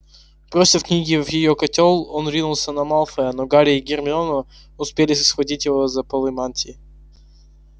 бросив книги в её котёл он ринулся на малфоя но гарри и гермиона успели схватить его за полы мантии